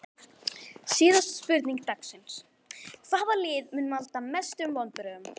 Síðari spurning dagsins: Hvaða lið mun valda mestum vonbrigðum?